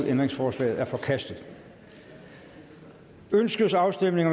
ændringsforslaget er forkastet ønskes afstemning